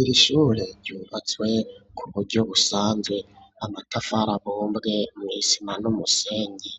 Iri shure ryubatswe kuburyo usanzwe amatafara bombwe mu isima n'umusenyi